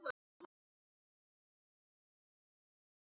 Lögregla fann verksmiðjuna síðan ári síðar